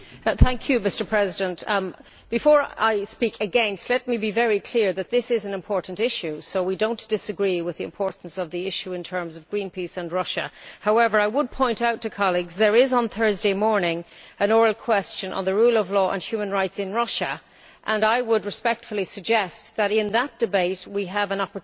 Mr President, before I speak against, let me be very clear that this is an important issue, so we do not disagree with the importance of the issue in terms of Greenpeace and Russia. However, I would point out to colleagues that on Thursday morning there is an oral question on the rule of law and human rights in Russia, and I would respectfully suggest that in that debate we have an opportunity